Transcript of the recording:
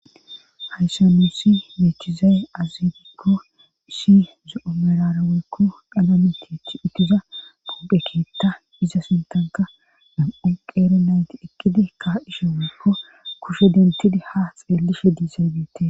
hayssa nussi meechizay azibikko ishi zo7o merare woykko daname tithi uttiza pubphekeetta iza sintanka nam7un qeere nayti eqqidi ka7ishe woykko kushe dentidi ha xeellishe diizaybte